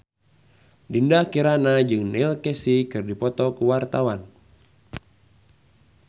Dinda Kirana jeung Neil Casey keur dipoto ku wartawan